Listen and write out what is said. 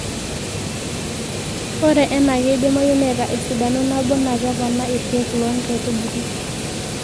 ore ena keidimayu neeta esidano nabo naa kepoonaa iirkeek loo nkaitubulu